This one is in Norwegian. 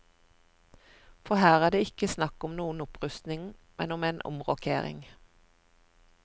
For her er det ikke snakk om noen opprustning, men om en omrokering.